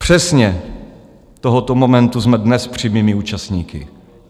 Přesně tohoto momentu jsme dnes přímými účastníky.